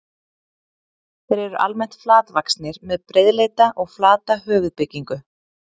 Þeir eru almennt flatvaxnir, með breiðleita og flata höfuðbyggingu.